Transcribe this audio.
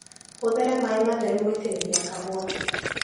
Hũthĩra maĩ matheru gũitĩrĩria kahũa.